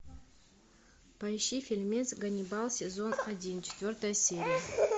поищи фильмец ганнибал сезон один четвертая серия